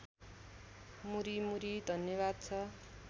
मुरिमुरी धन्यवाद छ